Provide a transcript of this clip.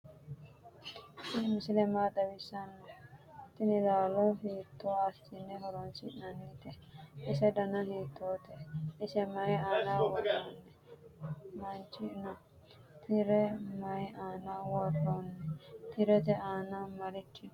tini misile maa xawisano? tini lalo hito asene horonsi'nanite? ise dana hitote? ise mayi anna woroni? didadoseni marichi no?tire nayi anna woroni? tirete ana marichi no?